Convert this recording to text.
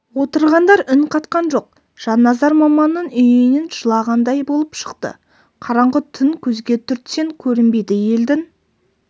отырғандар үн қатқан жоқ жанназар маманның үйінен жылағандай болып шықты қараңғы түн көзге түртсең көрінбейді елдің